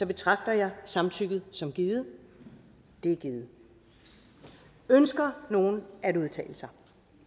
betragter jeg samtykket som givet det er givet ønsker nogen at udtale sig